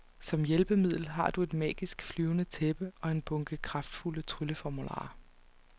Som hjælpemiddel har du et magisk, flyvende tæppe og en bunke kraftfulde trylleformularer.